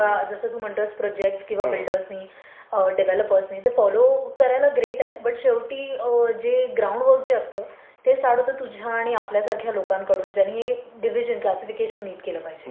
किंवा जसं तू म्हणतोयस प्रोजेक्टस किंवा बिल्डर्सनी किंवा डेव्हलपर्सनी ते फॉलो करायला ग्रेट आहे बट शेवटी जे ग्राऊंडवर्क जे असते ते स्टार्ट होतं तुझ्या किंवा आपल्यासारख्या लोकांनी डिव्हिजन, क्लासिफिकेशन नीट केलं पाहिजे.